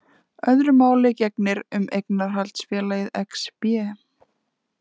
Öðru máli gegnir um eignarhaldsfélagið Exbé.